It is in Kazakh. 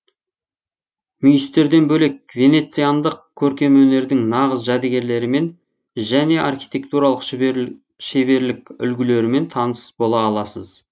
мүйістерден бөлек венециандық көркем өнердің нағыз жәдігерлерімен және архитектуралық шеберлік үлгілерімен таныс бола аласыз